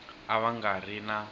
a va nga ri na